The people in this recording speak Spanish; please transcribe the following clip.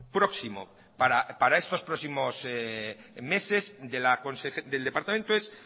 próximo para estos próximos meses del departamento es